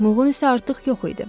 Mılğın isə artıq yox idi.